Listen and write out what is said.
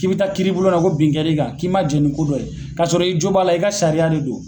K'i bɛ taa kiiri bulon na ko binkɛr'i kan k'i man jɛ ni ko dɔ ye ka sɔrɔ i jo b'a la i ka sariya de do.